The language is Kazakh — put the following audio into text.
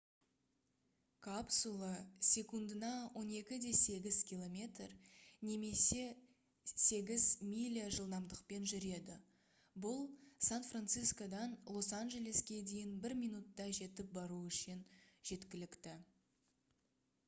капсула секундына 12,8 км немесе 8 миля жылдамдықпен жүреді бұл сан-франсискодан лос-анжелеске дейін бір минутта жетіп бару үшін жеткілікті